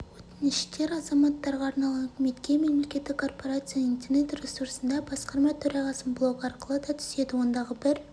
өтініштер азаматтарға арналған үкіметке мемлекеттік корпорацияның интернет-ресурсында басқарма төрағасының блогы арқылы да түседі ондағы бір